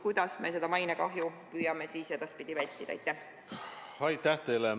Kuidas me seda mainekahju püüame edaspidi vältida?